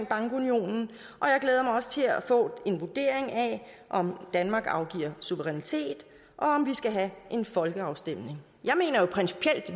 bankunionen og jeg glæder mig også til at få en vurdering af om danmark afgiver suverænitet og om vi skal have en folkeafstemning jeg mener jo principielt